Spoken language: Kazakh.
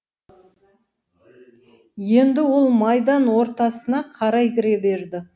енді ол майдан ортасына қарай кіре берді